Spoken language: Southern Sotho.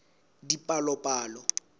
dipalopalo